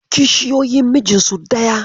Kishiyoyi mijinsu daya.